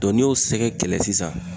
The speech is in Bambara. n'i y'o sɛgɛrɛ kɛlɛ sisan